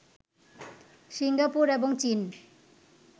Singapore এবং চীন